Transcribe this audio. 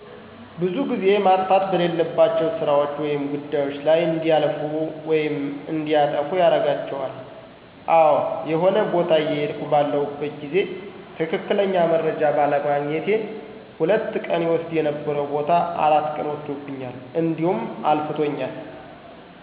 ብዙ ግዜ ማጥፋት በሌለባቸው ስራዎች ወይም ጉዳዮች ላይ እንዲለፉ ወይም እንዲያጠፉ ያረጋቸዋል። አዎ የሆነ ቦታ እየሄድኩ ባለሁበት ግዜ ትክክለኛ መረጃ ባለማግኘቴ ሁለት ቀን ይወስድ የነበረዉ ቦታ አራት ቀን ወስዶብኛ እዲሁም አልፍቶኛል።